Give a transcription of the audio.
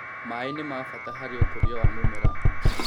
Maĩ nĩmabata harĩ ũkũrĩ wa mĩmera